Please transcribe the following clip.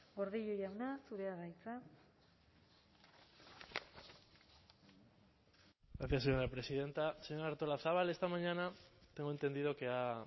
gordillo jauna zurea da hitza gracias señora presidenta señora artolazabal esta mañana tengo entendido que ha